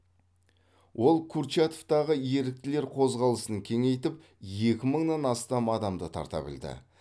ол курчатовтағы еріктілер қозғалысын кеңейтіп екі мыңнан астам адамды тарта білді